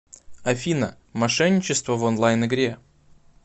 афина мошенничество в онлайн игре